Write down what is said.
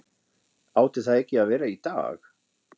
Átti það ekki að vera í dag?